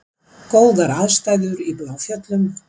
Góðar aðstæður í Bláfjöllum